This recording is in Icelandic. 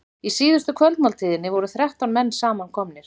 Í síðustu kvöldmáltíðinni voru þrettán menn samankomnir.